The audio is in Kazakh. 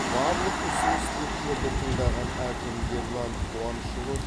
барлық ұсыныс тілектерді тыңдаған әкім ерлан қуанышұлы